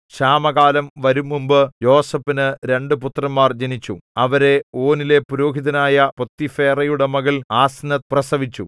ക്ഷാമകാലം വരുംമുമ്പ് യോസേഫിനു രണ്ടു പുത്രന്മാർ ജനിച്ചു അവരെ ഓനിലെ പുരോഹിതനായ പോത്തിഫേറയുടെ മകൾ ആസ്നത്ത് പ്രസവിച്ചു